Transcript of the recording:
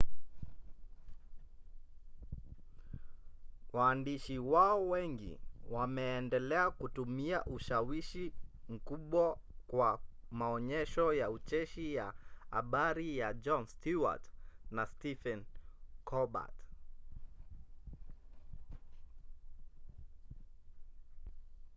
waandishi wao wengi wameendelea kutumia ushawishi mkubwa kwa maonyesho ya ucheshi ya habari ya jon stewart na stephen colbert